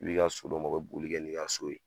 I b'i ka so d'u ma u bi boli kɛ ni ka so ye